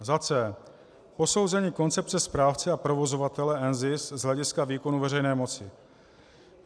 C. Posouzení koncepce správce a provozovatele NZIS z hlediska výkonu veřejné moci.